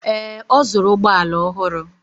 Ee, ọ zụrụ ụgbọ ala ọhụrụ.